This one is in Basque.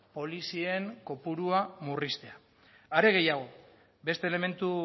polizien kopurua murriztea are gehiago beste elementu